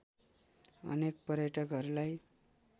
अनेक पर्यटकहरुलाई